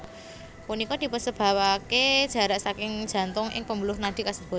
Punika dipunsebapake jarak saking jantung ing pembuluh nadi kasebut